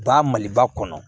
Ba maliba kɔnɔ